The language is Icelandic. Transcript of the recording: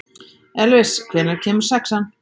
Elvis, hvenær kemur sexan?